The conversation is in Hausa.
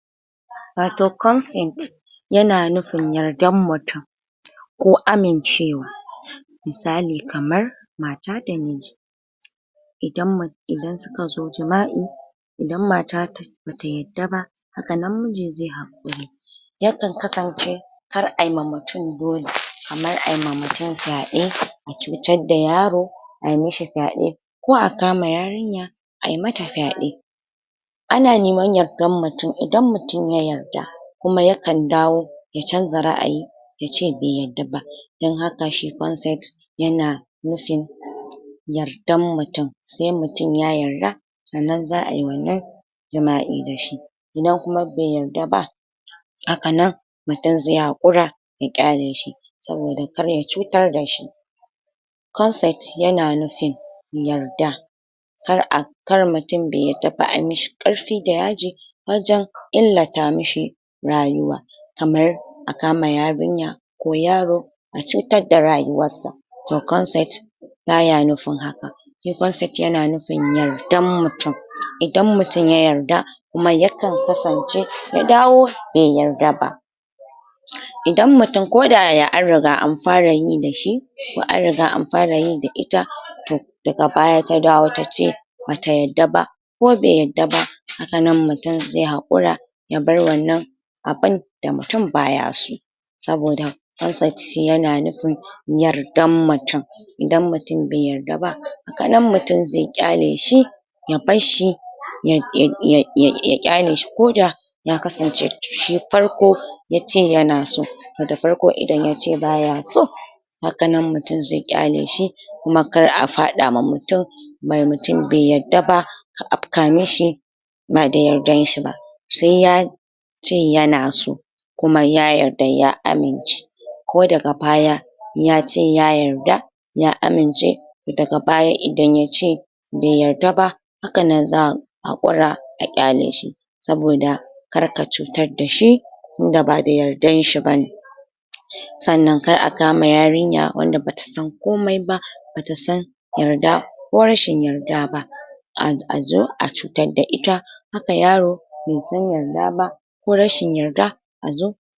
Wa toh ya na nufin yarda mutum ko amincewa misali kamar mata da miji idan idan su ka zo jamai idan mata ta ba ta yadda ba hakan nan miji ze hakuri ya kan kasance kar ayi ma mutum dole kamar ayi ma mutum fyade a cucar da yaro, ayi mishi fyade ko a kama yarinya ayi mata fyade ana niman yardan mutum, idan mutum ya yarda kuma ya kan dawo ya canza raayi ya ce be yadda ba don haka she consent ya na nufin yardan mutum se mutum ya yarda tsannan zaa yi wannan jamai da shi. Idan kuma be yarda ba haka nan mutum ze hakura ya kyale shi, saboda kar ya cutar dashi. Consent ya na nufin yarda kar a, kar mutum be yadda ba an yi mishi karfi da yaji wajen illata mishi rayuwa kamar a kama yarinya ko yaro a cutar da rayuwa sa. Toh consent ba ya nufin haka consent ya na nufin yardan mutum, idan mutum ya yarda kuma ya kan kasance ya dawo be yarda ba. Idan mutum ko da yaya an riga an fara yi dashi toh an riga an fara yi da ita, toh daga baya ta dawo ta ce, ba ta yadda ba ko be yadda ba, haka nan mutum ze hakura ya bar wannan abun da mutum ba ya so saboda consent shi ya na nufin yardan mutum idan mutum be yarda ba, haka nan mutum ze kyale shi ya barshi ya kyale shi ko da ya kasance shi farko ya ce yana so toh da farko idan ya ce ba ya so maganan, mutum ze kyale shi kuma kar a fada ma mutum mutum be yarda ba, ba da yardan shi ba, se ya ce yana so kuma ya yarda ya amince ko daga baya, ya ce ya yarda ya amince, da ga baya idan ya ce be yarda ba, haka nan zaa hakura a kyale shi saboda kar ka cutar dashi, tunda ba da yardan shi ba. tsannan kar a kama yarinya wanda ba ta san komai ba, ba ta san yarda kwarishin yarda ba a cutar da ita, haka yaro be san yarda ba ko rashin yarda, a zo